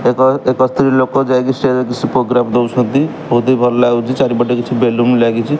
ଏବଂ ଏକ ସ୍ତ୍ରୀ ଲୋକ ଯାଇକି ଷ୍ଟେଜ ରେ ସେ ପ୍ରୋଗ୍ରାମ ଦେଉସନ୍ତି ବହୁତ ହି ଭଲ ଲାଗୁଚି ଚାରିପଟେ କିଛି ବେଲୁନ ଲାଗିଚି।